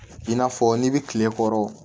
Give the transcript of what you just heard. I n'a fɔ n'i bɛ kile kɔrɔ